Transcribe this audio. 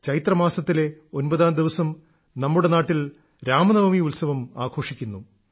ചൈത്രമാസത്തിലെ ഒമ്പതാം ദിവസം നമ്മുടെ നാട്ടിൽ രാമനവമി ഉത്സവം ആഘോഷിക്കുന്നു